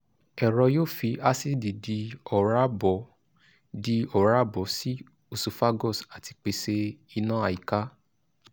ẹ̀rọ yóò fi àcidì di oòrá bọ́ di oòrá bọ́ sí esophagus àti pèsè ìná àyíká